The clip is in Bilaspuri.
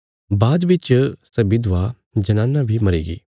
बाद च सै विधवा जनाना बी मरीगी